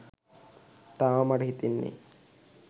තාමත් මට හිතෙන්නේ